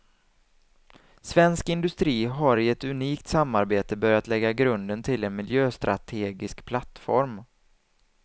Svensk industri har i ett unikt samarbete börjat lägga grunden till en miljöstrategisk plattform.